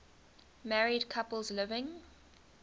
married couples living